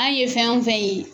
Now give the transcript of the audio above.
An ye fɛn o fɛn ye